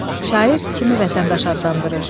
Şair kimi vətəndaş adlandırır?